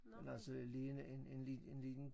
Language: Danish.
Men altså lige en en lid en liden